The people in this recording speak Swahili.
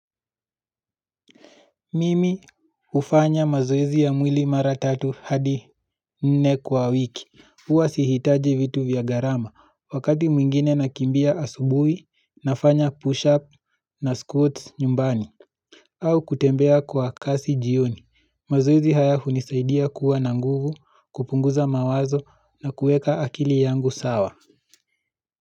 Mimi ufanya mazoezi ya mwili mara tatu hadi nne kwa wiki, uwa sihitaji vitu vya gharama wakati mwingine nakimbia asubuhi nafanya push up na squats nyumbani au kutembea kwa kasi jioni, mazoezi haya unisaidia kuwa na nguvu kupunguza mawazo na kuweka akili yangu sawa.